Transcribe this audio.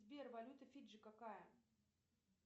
сбер валюта фиджи какая